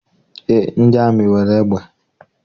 Eé, ndị amị nwere egbe.